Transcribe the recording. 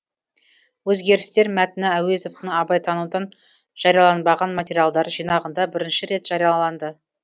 өзгерістер мәтіні әуезовтің абайтанудан жарияланбаған материалдар жинағында бірінші рет жарияланды